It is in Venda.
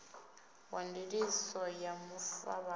wa ndiliso ya mafuvhalo na